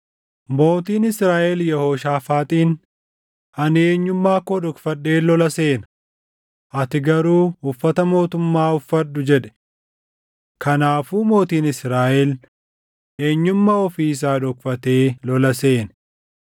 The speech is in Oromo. Mootiin Israaʼel Yehooshaafaaxiin, “Ani eenyummaa koo dhokfadheen lola seena; ati garuu uffata mootummaa uffadhu” jedhe. Kanaafuu mootiin Israaʼel eenyummaa ofii isaa dhokfatee lola seene.